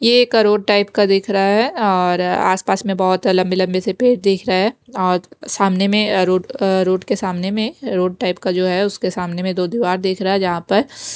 ये एक road type का दिख रहा है और आस-पास में बहुत लंबे-लंबे से पेड़ दिख रहा है और सामने में रोड रोड के सामने में रोड टाइप का जो है उसके सामने में दो दीवार दिख रहा है जहाँ पर --